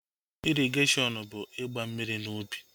Ịrịgashiọn ọn bụ ịgba mmiri n'ubi